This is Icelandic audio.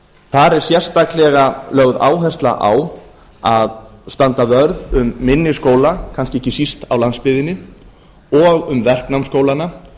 þar er sérstaklega lögð áhersla á að standa vörð um minni skóla kannski ekki síst á landsbyggðinni og um verknámsskólana